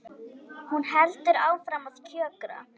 Hún heldur áfram að kjökra.